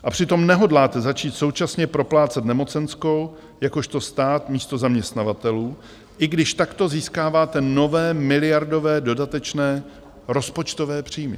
A přitom nehodláte začít současně proplácet nemocenskou jakožto stát místo zaměstnavatelů, i když takto získáváte nové miliardové dodatečné rozpočtové příjmy.